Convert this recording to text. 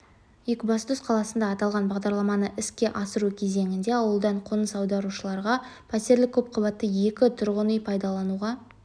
екібастұз қаласында аталған бағдарламаны іске асыру кезеңінде ауылдан қоныс аударушыларға пәтерлік көпқабатты екі тұрғын үй пайдалануға